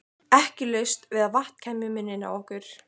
Ekki laust við að vatn kæmi í munninn á okkur.